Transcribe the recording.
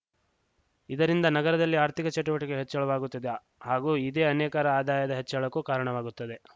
ಇದರಿಂದ ನಗರದಲ್ಲಿ ಆರ್ಥಿಕ ಚಟುವಟಿಕೆ ಹೆಚ್ಚಳವಾಗುತ್ತದೆ ಹಾಗೂ ಇದೇ ಅನೇಕರ ಆದಾಯದ ಹೆಚ್ಚಳಕ್ಕೂ ಕಾರಣವಾಗುತ್ತದೆ